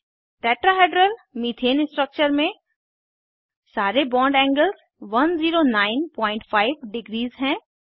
tetrahedral methane structure में सारे bond angles 1095 degrees हैं